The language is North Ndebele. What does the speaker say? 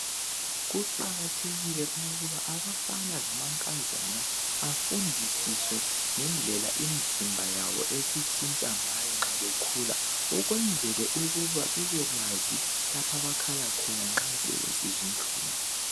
kuqakathekile ukuba abafana lamankazana bafundisiswe ngendlela imzimba yabo esitshintsha ngayo nxa sebekhula ukwenzela ukuba bebekwazi lapha abakhala khona nxa sebesizwa inhlungu